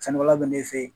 Sɛnɛkɛla bɛ n'e fɛ yen